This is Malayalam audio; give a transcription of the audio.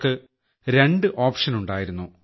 ഉള്ളവർക്ക് രണ്ട് ഐറ്റ് ഉണ്ടായിരുന്നു